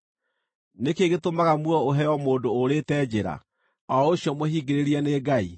Nĩ kĩĩ gĩtũmaga muoyo ũheo mũndũ ũũrĩte njĩra, o ũcio mũhingĩrĩrie nĩ Ngai?